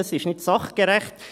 Das ist nicht sachgerecht.